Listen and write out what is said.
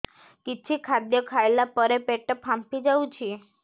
କିଛି ଖାଦ୍ୟ ଖାଇଲା ପରେ ପେଟ ଫାମ୍ପି ଯାଉଛି